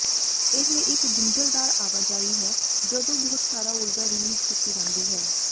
ਇਹ ਇੱਕ ਗੁੰਝਲਦਾਰ ਆਵਾਜਾਈ ਹੈ ਜਦੋਂ ਬਹੁਤ ਸਾਰਾ ਊਰਜਾ ਰਿਲੀਜ ਕੀਤੀ ਜਾਂਦੀ ਹੈ